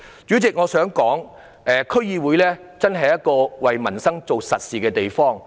主席，我還想指出，區議會是為民生做實事的地方。